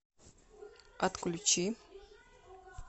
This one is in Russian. отключи